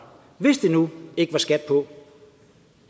hvis der nu ikke er skat på